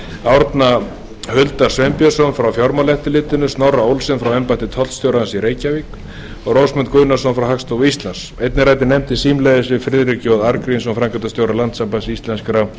árna huldar sveinbjörnsson frá fjármálaeftirlitinu snorra olsen frá embætti tollstjórans í reykjavík og rósmund guðnason frá hagstofu íslands einnig ræddi nefndin símleiðis við friðrik j arngrímsson framkvæmdastjóra landssambands íslenskra